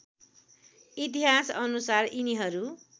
इतिहास अनुसार यिनीहरू